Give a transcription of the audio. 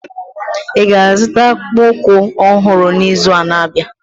Ị ga-azụta akpụkpọ ụkwụ ọhụrụ n'izu na-abịa?